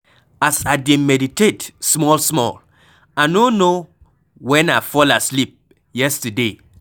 As I dey meditate small small I no know wen I fall asleep yesterday.